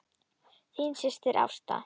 Þín systir, Ásta.